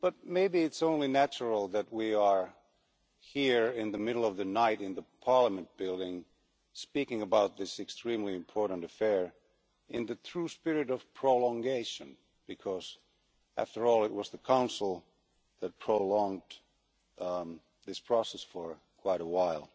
Maybe it is only natural that we are here in the middle of the night in the Parliament building, speaking about this extremely important affair in the true spirit of prolongation, because, after all, it was the Council that prolonged this process for quite a while.